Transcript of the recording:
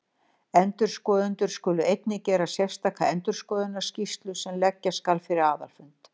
Endurskoðendur skulu einnig gera sérstaka endurskoðunarskýrslu sem leggja skal fyrir aðalfund.